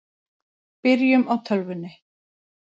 Byrjum á tölvunni.